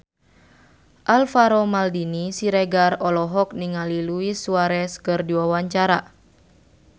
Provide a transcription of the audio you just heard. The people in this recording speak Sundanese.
Alvaro Maldini Siregar olohok ningali Luis Suarez keur diwawancara